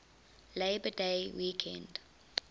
labor day weekend